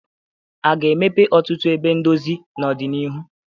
A ga-emepe ọtụtụ ebe ndozi n'ọdịnihu?